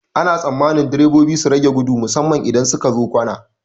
Ana tsammanin direbobi su rage gudu musamman idan sukazo kwana.